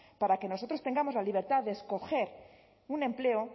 para que nosotros tengamos la libertad de escoger un empleo